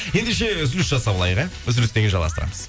ендеше үзіліс жасап алайық иә үзілістен кейін жалғастырамыз